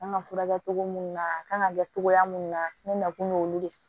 An ka furakɛ togo mun na a kan ka kɛ togoya minnu na ne nakun y'olu de ye